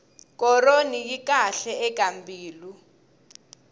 koroni yi kahle eka mbilu